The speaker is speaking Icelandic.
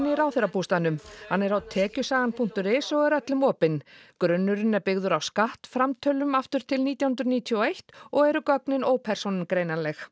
í ráðherrabústaðnum hann er á tekjusagan punktur is og er öllum opinn grunnurinn er byggður á skattframtölum aftur til nítján hundruð níutíu og eitt og eru gögnin ópersónugreinanleg